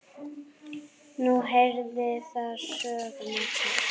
Nú heyrir það sögunni til.